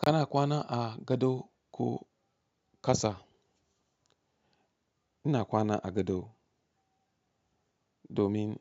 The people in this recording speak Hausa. Kana kwana a gado ko kasa? Ina kwana a gado domin